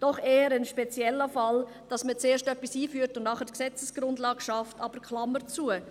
Es ist doch eher ein spezieller Fall, dass man zuerst etwas einführt und nachher die Gesetzesgrundlage schafft, aber Klammer zu.